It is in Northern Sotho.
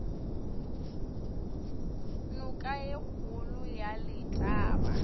noka ye kgolo ya letaba